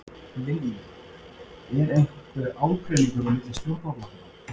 Lillý: Er einhver ágreiningur á milli stjórnarflokkanna?